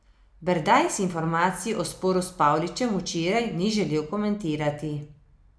Berdajs informacij o sporu s Pavličem včeraj ni želel komentirati.